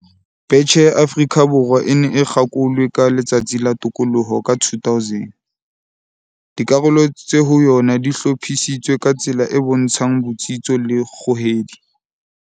Betjhe ya Afrika Borwa e ne e kgakolwe ka Letsatsi la Tokoloho ka 2000. Dikarolo tse ho yona di hlophisitswe ka tsela e bontshang botsitso le kgohedi.